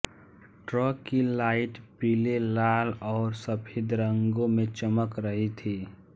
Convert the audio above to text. truck की light पीले लाल और सफ़ेद रंगों में चमक रही थी